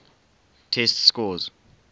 test scores